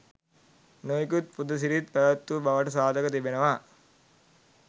නොයෙකුත් පුද සිරිත් පැවැත් වූ බවට සාධක තිබෙනවා.